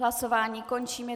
Hlasování končím.